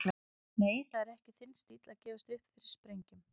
Nei, það er ekki þinn stíll að gefast upp fyrir sprengjum.